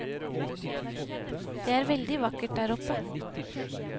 Det er veldig vakkert der oppe.